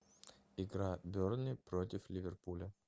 игра бернли против ливерпуля